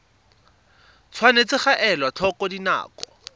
tshwanetse ga elwa tlhoko dinako